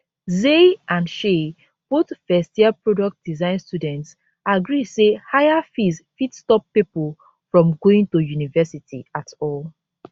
zay and shay both first year product design students agree say higher fees fit stop pipo from going to university at all